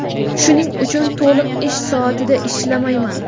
Shuning uchun to‘liq ish soatida ishlamayman.